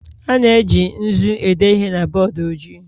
A na-eji nzu ede ihe na bọọdụ ojii